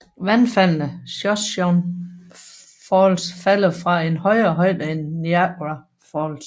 Vandfaldene Shoshone Falls falder fra en højere højde end Niagara Falls